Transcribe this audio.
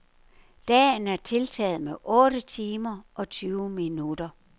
Dagen er tiltaget med otte timer og tyve minutter.